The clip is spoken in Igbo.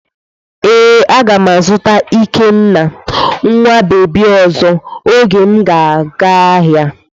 Ee, a ga m azụta ikenna nwa bebi ọzọ oge m ga-aga ahịa.